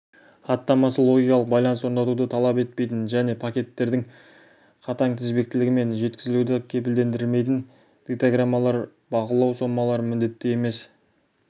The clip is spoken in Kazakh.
хаттамасы логикалық байланыс орнатуды талап етпейтін және пакеттердің қатаң тізбектілігі мен жеткізілуді кепілдендірмейтін дейтаграммалар бақылау сомалары міндетті емес